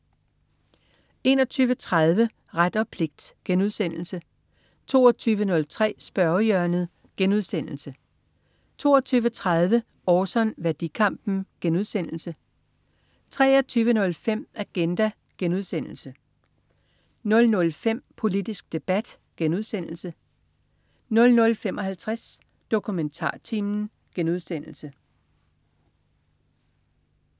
21.30 Ret og pligt* 22.03 Spørgehjørnet* 22.30 Orson. Værdikampen* 23.05 Agenda* 00.05 Politisk debat* 00.55 DokumentarTimen*